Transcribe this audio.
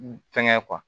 Fɛnkɛ